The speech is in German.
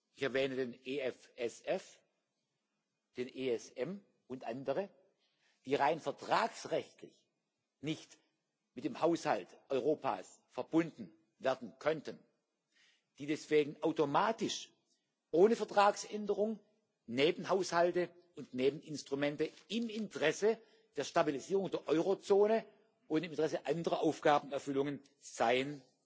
ich erwähne den EFSF, den ESM und andere die rein vertragsrechtlich nicht mit dem Haushalt Europas verbunden werden könnten, die deswegen automatisch, ohne Vertragsänderung, Nebenhaushalte und Nebeninstrumente im Interesse der Stabilisierung der Eurozone und im Intersse anderer Aufgabenerfüllung